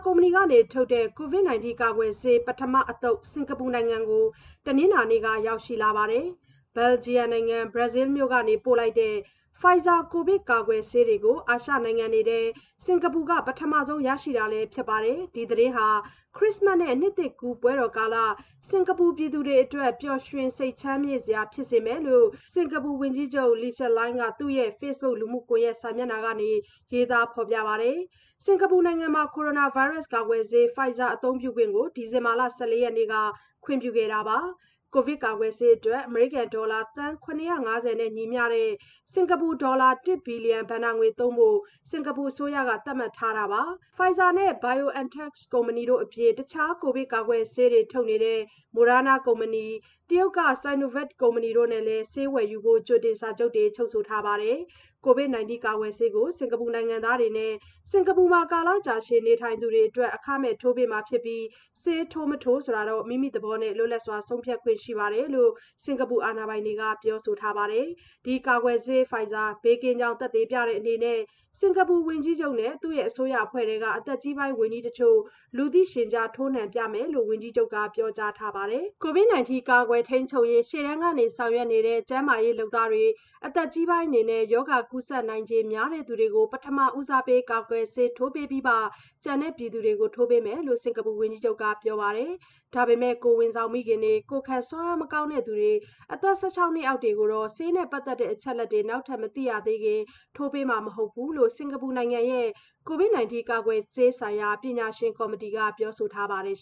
ကုမ္ပဏီက ထုတ်တဲ့ ကိုဗစ်ကာကွယ်ဆေး ပထမအသုတ် စင်္ကာပူနိုင်ငံကို တနင်္လာနေ့ညက ရောက်ရှိလာပါတယ်။ Belgium နိုင်ငံ Brussels မြို့ကနေ ပို့လိုက်တဲ့ Pfizer ကိုဗစ်ကာကွယ်ဆေးတွေကို အာရှနိုင်ငံတွေထဲ စင်္ကာပူက ပထမဆုံး ရရှိတာလည်း ဖြစ်ပါတယ်။ ဒီသတင်းဟာ Christmas နဲ့ နှစ်သစ်ကူးပွဲတော်ကာလ စင်္ကာပူပြည်သူတွေအတွက်ပျော်ရွှင်စိတ်ချမ်းမြေ့စရာဖြစ်စေမယ်လို့စင်ကာပူဝန်ကြီးချုပ် Lee Hsien သူ့ရဲ့ ဖေ့စ်ဘွတ်ခ်လူမှုကွန်ရက်စာမျက်နှာကနေ ရေးသားဖော်ပြပါတယ်။ စင်ကာပူနိုင်ငံမှာ ကိုရိုနာဗိုင်းရပ်စ်ကာကွယ်ဆေး Pfizer အသုံးပြုခွင့်ကို ဒီဇင်ဘာ ၁၄ ရက်နေ့က ခွင့်ပြုခဲ့တာပါ။ ကိုဗစ်ကာကွယ်ဆေးအတွက် အမေရိကန်ဒေါ်လာ သန်း ၇၅၀ နဲ့ ညီမျှတဲ့ စင်ကာပူဒေါ်လာ တစ်ဘီလီယံ ဘဏ္ဍာငွေသုံးဖို့ စင်္ကာပူအစိုးရက သတ်မှတ်ထားပြီး Pfizer နဲ့ BioNTech ကုမ္ပဏီတို့အပြင်၊ တခြားကိုဗစ်ကာကွယ်ဆေးတွေထုတ်နေတဲ့ Moderna ကုမ္ပဏီ၊ တရုတ်က Sinovac (ဆိုင်နိုဗက်) ကုမ္ပဏီတို့နဲ့လည်း ဆေးဝယ်ယူဖို့ ကြိုတင် စာချုပ်တွေ ချုပ်ထားပါတယ်။ ကိုဗစ်ကာကွယ်ဆေးကို စင်ကာပူနိုင်ငံသားတွေနဲ့ စင်ကာပူမှာ ကာလကြာရှည်နေထိုင်သူတွေကို အခမဲ့ ထိုးပေးမှာဖြစ်ပြီး၊ ဆေးထိုး-မထိုး မိမိသဘောနဲ့ လွတ်လပ်စွာဆုံးဖြတ်ခွင့်ရှိတယ်လို့ စင်ကာပူအာဏာပိုင်တွေက ပြောဆိုထားပါတယ်။ ဒီကိုဗစ်ကာကွယ်ဆေး Pfizer ကိုဘေးကင်းကြောင်း သက်သေပြတဲ့အနေနဲ့ စင်ကာပူဝန်ကြီးချုပ်နဲ့ သူ့ရဲ့အစိုးရအဖွဲ့ထဲက အသက်ကြီးပိုင်းဝန်ကြီးတချို့ လူသိရှင်ကြား ထိုးနှံပြမယ်လို့ ဝန်ကြီးချုပ်က ပြောကြားထားပါတယ်။ ကိုဗစ် ၁၉ ကာကွယ် ထိန်းချုပ်ရေးရှေ့တန်းကနေ ဆောင်ရွက်နေတဲ့ ကျန်းမာရေးလုပ်သားတွေ၊ အသက်ကြီးပိုင်းတွေနဲ့ ရောဂါကူးစက်နိုင်ခြေများသူတွေကို ပထမဦးစားပေး ကိုဗစ်ကာကွယ်ဆေးထိုးပေးပြီးမှ ကျန်တဲ့ ပြည်သူတွေကို ထိုးပေးမှာဖြစ်တယ်လို့ စင်ကာပူဝန်ကြီးချုပ်ကပြောပါတယ်။ ဒါပေမဲ့ ကိုယ်ဝန်ဆောင်မိခင်တွေ၊ ကိုယ်ခံစွမ်းအား မကောင်းသူတွေ၊ အသက် ၁၆ နှစ်အောက်တွေကိုတော့ ဆေးနဲ့ ပတ်သက်တဲ့အချက်အလက်တွေ နောက်ထပ် မသိရသေးခင် ထိုးပေးမှာ မဟုတ်ဘူးလို့ စင်ကာပူနိုင်ငံရဲ့ ကိုဗစ်၁၉ ကာကွယ်ဆေးဆိုင်ရာ ပညာရှင်ကော်မတီကပြောဆိုထားပါတယ်